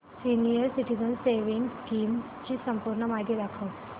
senior citizens savings scheme ची संपूर्ण माहिती दाखव